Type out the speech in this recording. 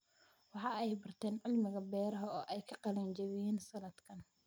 Waxa ay barteen cilmiga beeraha oo ay ka qalin jabiyeen sanadkan.